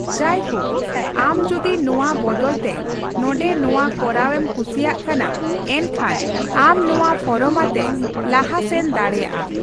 ᱡᱟᱭᱦᱳᱠ, ᱟᱢ ᱡᱩᱫᱤ ᱱᱚᱣᱟ ᱵᱚᱫᱚᱞᱛᱮ ᱱᱚᱰᱮ ᱱᱚᱣᱟ ᱠᱚᱨᱟᱣ ᱮᱢ ᱠᱩᱥᱤᱭᱟᱜ ᱠᱟᱱᱟ, ᱮᱱᱠᱷᱟᱱ ᱟᱢ ᱱᱚᱣᱟ ᱯᱷᱚᱨᱚᱢ ᱟᱛᱮ ᱞᱟᱦᱟ ᱥᱮᱱ ᱫᱟᱲᱮᱭᱟᱜᱼᱟ ᱾